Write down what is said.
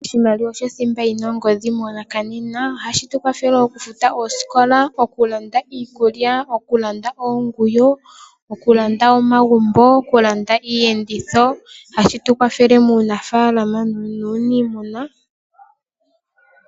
Oshimaliwa osho thimba yina ongodhi monakanena . Ohashi tukwathele okufuta oosikola, okulanda iikulya , okulanda oonguyo , okulanda omagumbo, okulanda iiyenditho. Ohashi tukwathele muunamapya nuuniimuna.